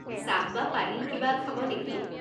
চাহ বা পানী কিবা খাব নেকি?